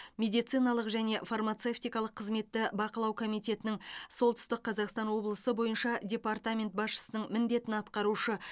медициналық және фармацевтикалық қызметті бақылау комитетінің солтүстік қазақстан облысы бойынша департамент басшысының міндетін атқарушы